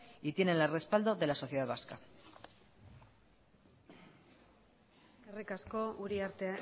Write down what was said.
y tienen el respaldo de la sociedad vasca eskerrik asko uriarte